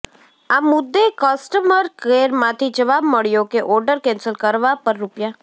આ મુદ્દે કસ્ટમર કેરમાંથી જવાબ મળ્યો કે ઓર્ડર કેન્સલ કરવા પર રૂ